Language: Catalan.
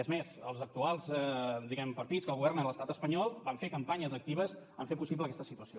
és més els actuals partits que governen l’estat espanyol van fer campanyes actives per fer possible aquesta situació